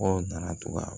Aw nana to ka